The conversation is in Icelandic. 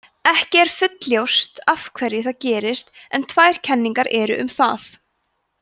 ekki er fullljóst af hverju það gerist en tvær kenningar eru um það